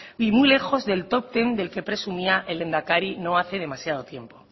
y muy lejos del top ten del que presumía el lehendakari no hace demasiado tiempo